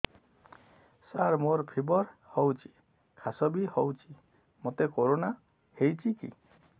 ସାର ମୋର ଫିବର ହଉଚି ଖାସ ବି ହଉଚି ମୋତେ କରୋନା ହେଇଚି କି